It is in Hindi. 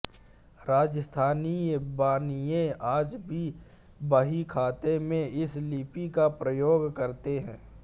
राजस्थानी बनिये आज भी बहीखातों में इस लिपि का प्रयोग करते हैं